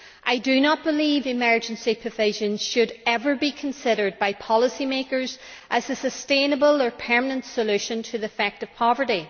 I do not believe emergency provisions should ever be considered by policymakers as a sustainable or permanent solution to the effect of poverty.